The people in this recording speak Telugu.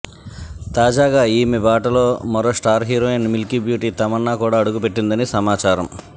తాజాగా ఈమె బాటలో మరో star heroine milky beauty Tamannaah కూడా అడుగు పెట్టిందని సమాచారం